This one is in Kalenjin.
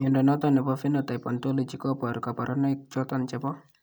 Mnyondo noton nebo Phenotype Ontology koboru kabarunaik choton chebo